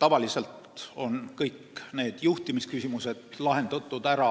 Tavaliselt on kõik need juhtimisküsimused lahendatud ära